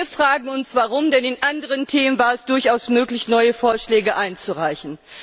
Wir fragen uns warum, denn bei anderen Themen war es durchaus möglich, neue Vorschläge einzureichen.